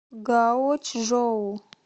гаочжоу